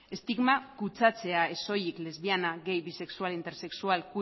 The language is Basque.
estigma kutsatzea ez soilik lesbiana gay bisexual intersexual